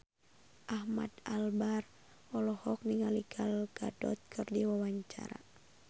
Ahmad Albar olohok ningali Gal Gadot keur diwawancara